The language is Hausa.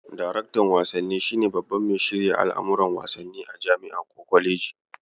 Daraktan wasanni shi ne baban mai shirya al'amuran wasanni a jam'i ko kwaleji.